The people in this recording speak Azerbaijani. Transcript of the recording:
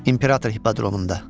İmperator hipodromunda.